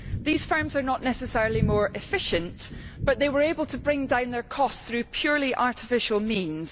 These firms are not necessarily more efficient, but they were able to bring down their costs through purely artificial means.